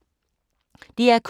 DR K